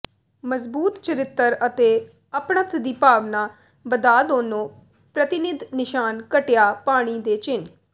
ਮਜਬੂਤ ਚਰਿੱਤਰ ਅਤੇ ਅਪਣੱਤ ਦੀ ਭਾਵਨਾ ਵਧਾ ਦੋਨੋ ਪ੍ਰਤੀਨਿਧ ਨਿਸ਼ਾਨ ਘਟੀਆ ਪਾਣੀ ਦੇ ਚਿੰਨ੍ਹ